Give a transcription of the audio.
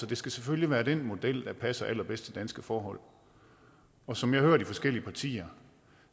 det selvfølgelig være den model der passer allerbedst til danske forhold og som jeg hører de forskellige partier